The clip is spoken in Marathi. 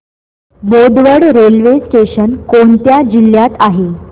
बोदवड रेल्वे स्टेशन कोणत्या जिल्ह्यात आहे